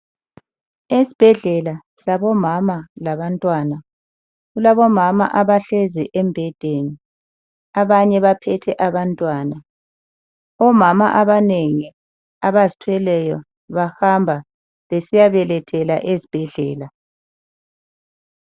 Esibhedlela sabomama labantwana, kulabomama abahlezi embhedeni, abanye baphethe abantwana .Omama abanengi abazithweleyo bahamba besiyabelethela ezibhedlela.